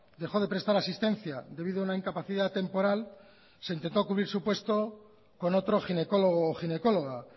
dejó de prestar asistencia debido a una incapacidad temporal se intentó cubrir su puesto con otro ginecólogo ginecóloga